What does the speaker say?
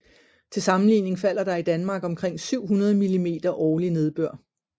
Til sammenligning falder der i Danmark omkring 700 mm årlig nedbør